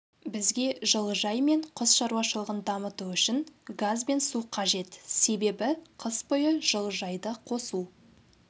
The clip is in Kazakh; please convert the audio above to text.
бізге жылыжай мен құс шаруашылығын дамыту үшін газ бен су қажет себебі қыс бойы жылыжайды қосу